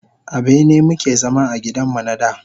A bene mu ke zama a gidan mu na da.